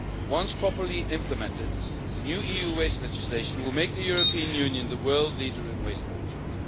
Once properly implemented, the new EU waste legislation will make the European Union the world leader in waste management.